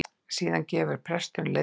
Síðan gefur presturinn leiðbeiningar